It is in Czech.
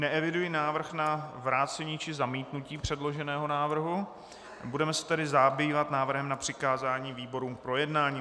Neeviduji návrh na vrácení či zamítnutí předloženého návrhu, budeme se tedy zabývat návrhem na přikázání výborům k projednání.